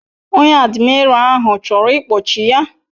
Onye admira ahu choro ikpochi ya